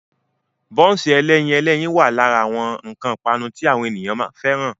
Bọ́nsì ẹlẹ́yin ẹlẹ́yin náà wà lára àwọn nǹkan ipanu tí àwọn ènìyàn fẹ́ràn.